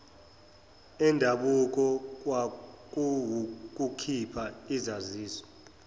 endabuko kwakuwukukhipha izaziso